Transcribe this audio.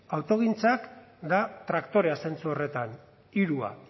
autogintza da traktorea zentzu horretan hiru